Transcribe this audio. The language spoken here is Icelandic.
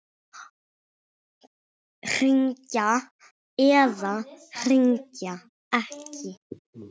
Hringja eða hringja ekki?